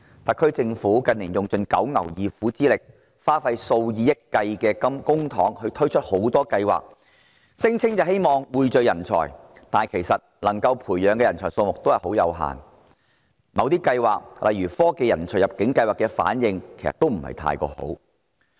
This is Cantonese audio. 特區政府近年使盡九牛二虎之力，花費數以億元計公帑推出多項計劃，聲稱希望匯聚人才，但培養出來的人才數目其實很有限，某些計劃如科技人才入境計劃的反應也不太好。